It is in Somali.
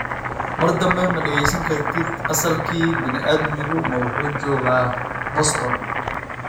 mar dambe ma dhegaysan kartid asalkii bini'aadmigu ma wuxuu joogaa Boston?